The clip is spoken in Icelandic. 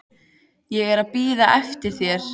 Ég er að bíða eftir þér.